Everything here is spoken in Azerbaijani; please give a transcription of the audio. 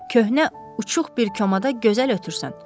Köhnə uçuğ bir komada gözəl ötürsən.